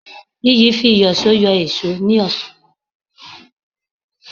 Iyì fi ìyọ̀sọ́ yọ èṣó ní ọ̀sán